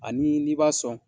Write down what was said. Ani ni i b'a sɔn